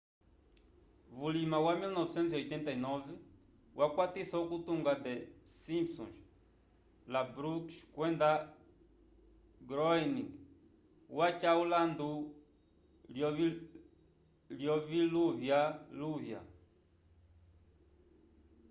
vulima wa 1989 wakwatisa okutunga the simpsons la brooks kwenda groening waca ulandu lyoviluvyaluvya